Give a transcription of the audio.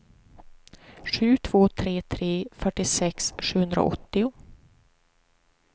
sju två tre tre fyrtiosex sjuhundraåttio